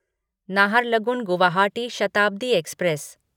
Naharlagun Guwahati Shatabdi express